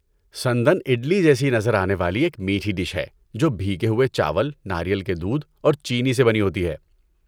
سندان اڈلی جیسی نظر آنے والی ایک میٹھی ڈش ہے جو بھیگے ہوئے چاول، ناریل کے دودھ اور چینی سے بنی ہوتی ہے۔